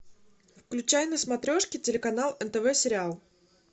включай на смотрешке телеканал нтв сериал